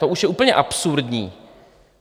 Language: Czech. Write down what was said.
To už je úplně absurdní.